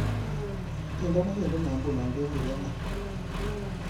Tyendo negendene nguno kegurene